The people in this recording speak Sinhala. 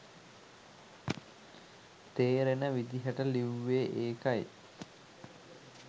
තේරෙන විදිහට ලිවුවේ ඒකයි.